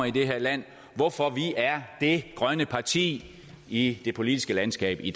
i det her land hvorfor vi er det grønne parti i det politiske landskab i